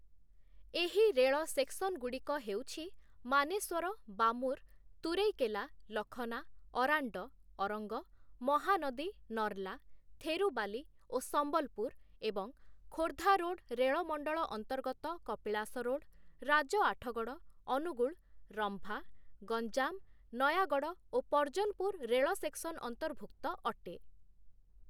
ଏହି ରେଳ ସେକ୍ସନଗୁଡ଼ିକ ହେଉଛି ମାନେଶ୍ଵର, ବାମୁର, ତୁରେଇକେଲା, ଲଖନା, ଅରାଣ୍ଡ, ଅରଙ୍ଗ, ମହାନାଦୀ, ନର୍ଲା, ଥେରୁବାଲି ଓ ସମ୍ବଲପୁର ଏବଂ ଖୋର୍ଦ୍ଧା ରୋଡ୍‌ ରେଳ ମଣ୍ଡଳ ଅନ୍ତର୍ଗତ କପିଳାସ ରୋଡ, ରାଜ ଆଠଗଡ଼଼, ଅନୁଗୁଳ, ରମ୍ଭା, ଗଞ୍ଜାମ, ନୟାଗଡ଼଼ ଓ ପର୍ଜନପୁର ରେଳ ସେକ୍ସନ ଅନ୍ତର୍ଭୁକ୍ତ ଅଟେ ।